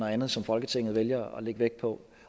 andet som folketinget vælger at lægge vægt på